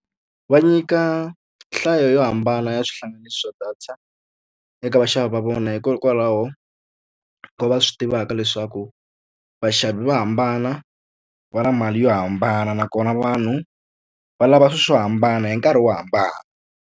Va nyika nhlayo yo hambana ya swihlanganisi swa data eka vaxavi va vona, hikokwalaho ko va va swi tivaka leswaku vaxavi va hambana, va na mali yo hambana. Nakona vanhu va lava swilo swo hambana, hi nkarhi wo hambana.